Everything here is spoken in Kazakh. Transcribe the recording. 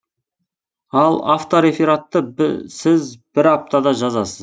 ал авторефератты сіз бір аптада жазасыз